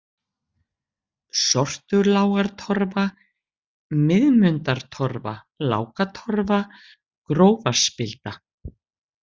Sortulágartorfa, Miðmundatorfa, Lákatorfa, Grófarspilda